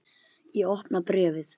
Ég opna bréfið.